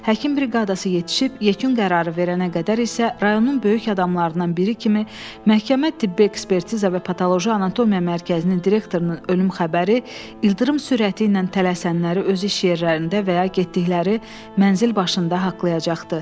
Həkim briqadası yetişib yekun qərarı verənə qədər isə rayonun böyük adamlarından biri kimi məhkəmə tibbi ekspertiza və patoloji anatomiya mərkəzinin direktorunun ölüm xəbəri ildırım sürəti ilə tələsənləri öz iş yerlərində və ya getdikləri mənzil başında haqqlayacaqdı.